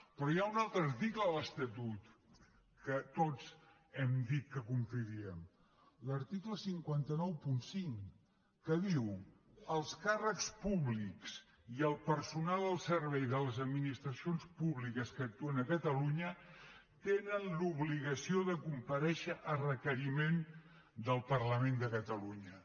però hi ha un altre article de l’estatut que tots hem dit que compliríem l’article cinc cents i noranta cinc que diu els càrrecs públics i el personal al servei de les administracions públiques que actuen a catalunya tenen l’obligació de comparèixer a requeriment del parlament de catalunya